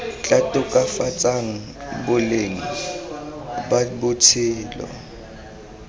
tla tokafatsang boleng ba botshelo